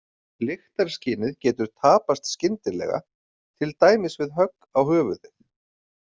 Lyktarskynið getur tapast skyndilega til dæmis við högg á höfuðið.